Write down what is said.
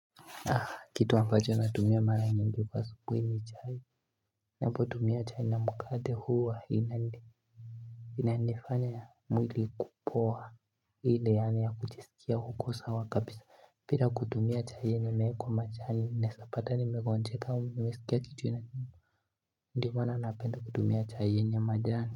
Kitu ambacho natumia mara nyingi kwa subuhi ni kunywa chai ninapo tumia chai na mkate huwa inanifanya mwili ikue poa hii ya kujisikia huko sawa kabisa pira kutumia chai yenye imeekwa majani naeza pata nimegonjeka au nasisikia kichwa inauma ndo maana napenda kutumia chai yenye majani.